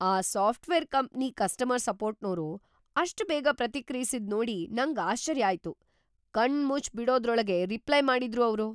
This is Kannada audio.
ಆ ಸಾಫ್ಟ್‌ವೇರ್ ಕಂಪ್ನಿ ಕಸ್ಟಮರ್ ಸಪೋರ್ಟ್‌ನೋರು ಅಷ್ಟ್‌ ಬೇಗ ಪ್ರತಿಕ್ರಿಯ್ಸಿದ್‌ ನೋಡಿ ನಂಗ್ ಆಶ್ಚರ್ಯ ಆಯ್ತು. ಕಣ್ಮುಚ್ಚ್‌ ಬಿಡೋದ್ರೊಳ್ಗೇ ರಿಪ್ಲೈ ಮಾಡಿದ್ರು ಅವ್ರು!